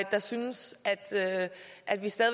der synes at at vi stadig